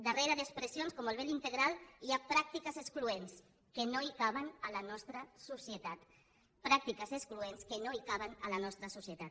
darrere d’expressions com el vel integral hi ha pràctiques excloents que no caben a la nostra societat pràctiques excloents que no caben a la nostra societat